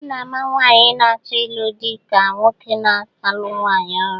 A na-ama nwaanyị na-achọ ịlụ di ka nwoke na-alụ nwaanyị ọhụrụ.